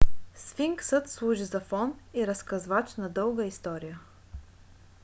сфинксът служи за фон и разказвач на дълга история